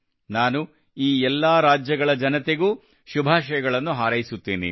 ನಾನು ಈ ಎಲ್ಲ ರಾಜ್ಯಗಳ ಜನತೆಗೂ ಶುಭಾಶಯಗಳನ್ನು ಹಾರೈಸುತ್ತೇನೆ